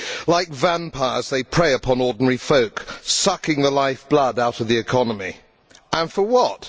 Like vampires they prey upon ordinary folk, sucking the lifeblood out of the economy and for what?